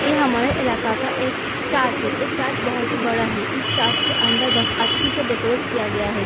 यह हमारे इलाका का एक चार्ज है ऐ चार्ज बहोत ही बड़ा है इस चार्ज के अंदर बहोत अच्छी से डेकोरेट किया गया है।